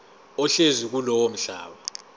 ohlezi kulowo mhlaba